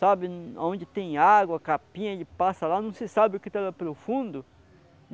Sabe, onde tem água, capinha, ele passa lá, não se sabe o que está lá pelo fundo.